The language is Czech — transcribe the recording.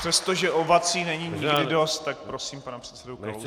Přestože ovací není nikdy dost, tak prosím pana předsedu Kalouska.